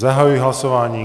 Zahajuji hlasování.